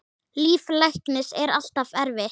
Líf læknis er alltaf erfitt.